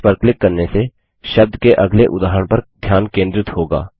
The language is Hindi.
नेक्स्ट पर क्लिक करने से शब्द के अगले उदाहरण पर ध्यान केंद्रित होगा